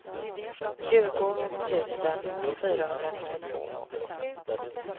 tjugo tusen fyrahundranittiotvå